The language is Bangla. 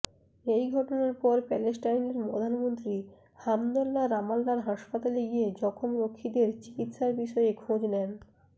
এই ঘটনার পর প্যালেস্টাইনের প্রধানমন্ত্রী হামদল্লা রামাল্লার হাসপাতালে গিয়ে জখম রক্ষীদের চিকিৎসার বিষয়ে খোঁজ নেন